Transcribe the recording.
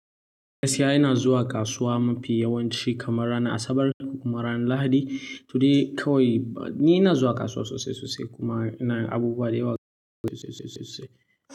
Gaskiya na zuwa kasuwa mafi yawanci kamar ranar Asabar da kuma ranar Lahadi. To dai kawai ni ina zuwa kasuwa sosai sosai kuma ina abubuwa dayawa sosai sosai sosai sosai.